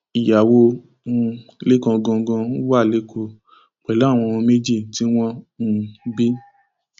ìyàwó um lẹkan gangan wà lẹkọọ pẹlú àwọn ọmọ méjì tí wọn um bí